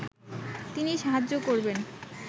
তিনি সাহায্য করবেন